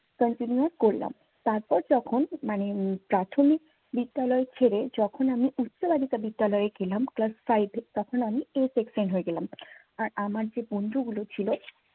continuous করলাম। তারপর যখন মানে প্রাথমিক বিদ্যালয় ছেড়ে যখন আমি উচ্চ বালিকা বিদ্যালয়ে গেলাম। class five এ তখন আমি a section হয়ে গেলাম। আর আমার যে বন্ধুগুলো ছিল